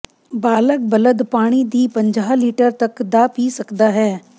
ਬਾਲਗ ਬਲਦ ਪਾਣੀ ਦੀ ਪੰਜਾਹ ਲੀਟਰ ਤੱਕ ਦਾ ਪੀ ਸਕਦਾ ਹੈ